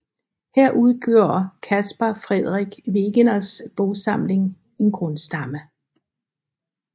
Her udgjorde Caspar Frederik Wegeners bogsamling en grundstamme